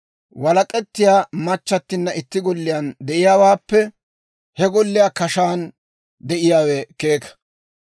Walak'ettiyaa machchattinna itti golliyaan de'iyaawaappe he golliyaa kashaan de'iyaawe keeka.